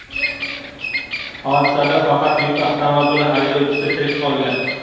Hodisada faqat yuk avtomobili haydovchisi tirik qolgan.